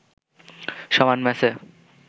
সমান ম্যাচে